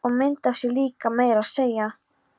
Og mynd af sér líka meira að segja.